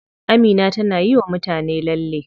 Amina tana yiwa mutane lalle.